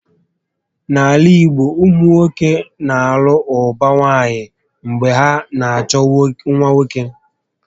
N'ala igbo, ụmụnwoke na alụ ụba nwaanyị mgbe ha na achọ nwa nwoke